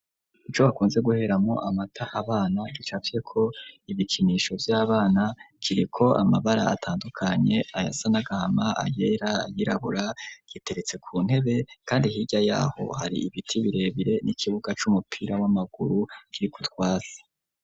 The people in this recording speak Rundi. Ico bakunze guheramwo amata abana gicapye ko ibikinisho vy'abana kiri ko amabara atandukanye ayasa n'agahama ayera ayirabura giteretse ku ntebe kandi hirya yaho hari ibiti birebire n'ikibuga c'umupira w'amaguru kiri kutwatsi.